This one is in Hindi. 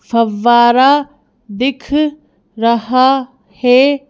फव्वारा दिख रहा है।